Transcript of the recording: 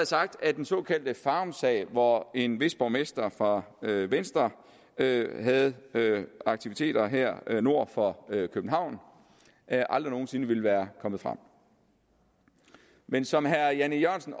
sagt at den såkaldte farumsag hvor en vis borgmester fra venstre havde aktiviteter her nord for københavn aldrig nogen sinde ville være kommet frem men som herre jan e jørgensen